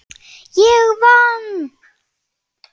Ég vann.